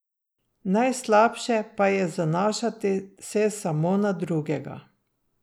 Najslabše pa je zanašati se samo na drugega.